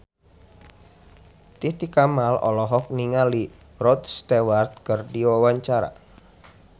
Titi Kamal olohok ningali Rod Stewart keur diwawancara